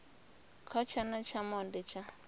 kha tshana tsha monde tsha